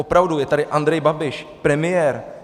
Opravdu, je tady Andrej Babiš, premiér.